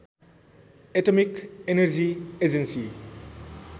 atomic energy agency